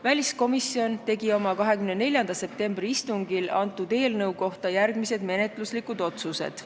Väliskomisjon tegi oma 24. septembri istungil eelnõu kohta järgmised menetluslikud otsused.